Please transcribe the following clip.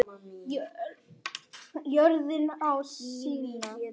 Jörðin á sína.